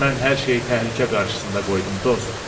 Mən hər şeyi təhlükə qarşısında qoydum dost.